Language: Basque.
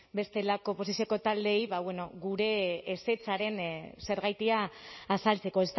bestelako oposizioko taldeei gure ezetzaren zergatia azaltzeko